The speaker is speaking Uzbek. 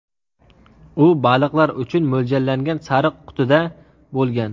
U baliqlar uchun mo‘ljallangan sariq qutida bo‘lgan.